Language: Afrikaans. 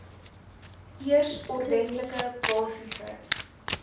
eers ordentlike basiese